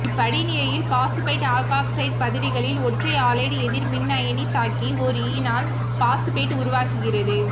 இப்படிநிலையில் phosphite alkoxide பதிலிகளில் ஒன்றை halide எதிர் மின்னயனி தாக்கி ஓர் ஈனால் பாசுபேட்டு உருவாகிறது